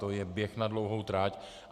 To je běh na dlouhou trať.